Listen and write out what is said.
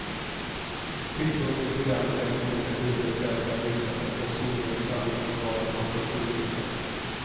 Tyngdpunkten i programmet läggs på olika typer av offentliga byggnader som skolor, samlingslokaler och kulturbyggnader.